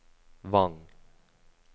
Vang